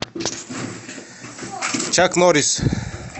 чак норрис